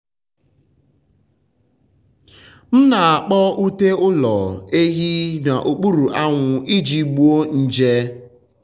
m na-akpọ ute ụlọ um ehi n’okpuru anwụ iji gbuo nje.